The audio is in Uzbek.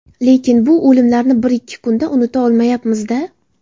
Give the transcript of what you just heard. Lekin bu o‘limlarni bir-ikki kunda unuta olmayapmiz-da.